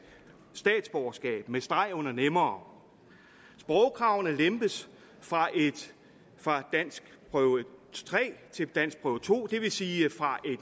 statsborgerskab med streg under nemmere sprogkravet lempes fra fra danskprøve tre til danskprøve to det vil sige fra